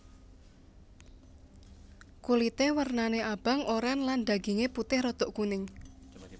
Kulité wernané abang oren lan dagingé putih rada kuning